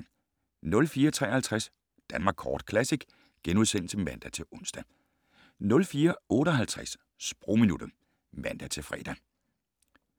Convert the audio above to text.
04:53: Danmark Kort Classic *(man-ons) 04:58: Sprogminuttet (man-fre)